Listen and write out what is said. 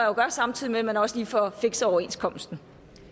jo gøre samtidig med at man også lige får fikset overenskomsten